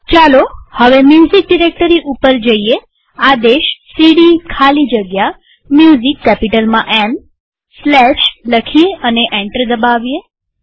ચાલો હવે music directory ઉપર જઈએઆદેશ સીડી ખાલી જગ્યા Musicકેપિટલમાં એમ સ્લેશ લખી અને એન્ટર દબાવીએ